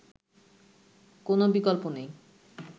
কোনও বিকল্প নেই